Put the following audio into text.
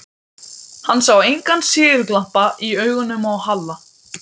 Hann sá engan sigurglampa í augunum á Halla.